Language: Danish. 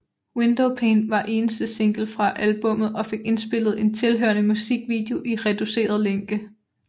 Windowpane var eneste single fra albummet og fik indspillet en tilhørende musikvideo i reduceret længde